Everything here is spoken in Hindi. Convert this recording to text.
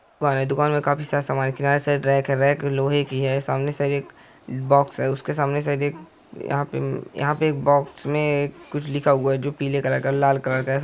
दुकान हैदुकान में काफी सारा समान है किनारे सारे रेक हैरेक लोहे की हैं सामने सारे एक बॉक्स हैं उसके सामने शायद यहाँ परयहाँ पर एक बॉक्स में कुछ लिखा हुआ है जो पीले कलर का लाल कलर का है।